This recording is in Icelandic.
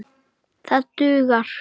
Þetta dugir.